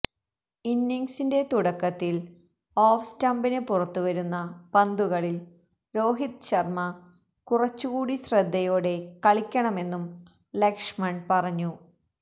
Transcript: ഇന്നിംഗ്സിന്റെ തുടക്കത്തില് ഓഫ് സ്റ്റംപിന് പുറത്തുവരുന്ന പന്തുകളില് രോഹിത് ശര്മ്മ കുറച്ചുകൂടി ശ്രദ്ധയോടെ കളിക്കണമെന്നും ലക്ഷ്മൺ പറഞ്ഞു